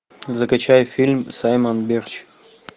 закачай фильм саймон бирч